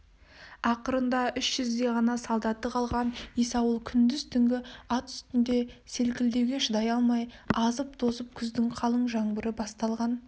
ақырында үш жүздей ғана солдаты қалған есауыл күндіз-түнгі ат үстінде селкілдеуге шыдай алмай азып-тозып күздің қалың жаңбыры басталған